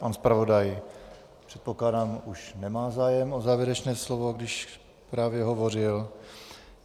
Pan zpravodaj, předpokládám, už nemá zájem o závěrečné slovo, když právě hovořil.